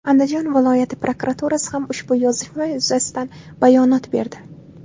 Andijon viloyati prokuraturasi ham ushbu yozishma yuzasidan bayonot berdi .